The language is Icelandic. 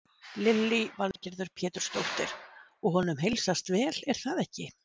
Lillý Valgerður Pétursdóttir: Og honum heilsast vel er það ekki?